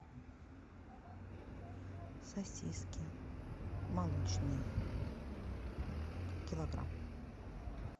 сосиски молочные килограмм